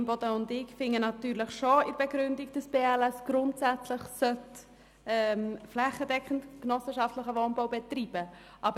Grossrätin Imboden und ich finden natürlich schon in der Begründung, dass die BLS grundsätzlich flächendeckend genossenschaftlichen Wohnungsbau betreiben soll.